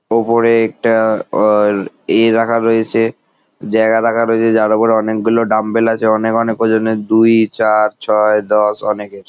ওপরে একটা অ এ রাখা রয়েছে জায়গা রাখা রয়েছে যার উপরে অনেকগুলো ডাম্বল আছে অনেক অনেক ওজনের দুই চার ছয় দশ অনেকের।